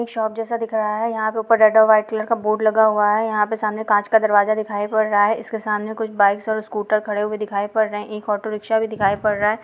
एक शॉप जैसा दिख रहा है यहां पे ऊपर रेड और व्हाइट कलर का बोर्ड लगा हुआ है यहां पे सामने कांच का दरवाजा दिखाई पड़ रहा है इसके सामने कुछ बाइक और स्कूटर खड़े हुए दिखाई पड़ रहे है एक ऑटो रिक्शा भी दिखाई पड़ रहा है।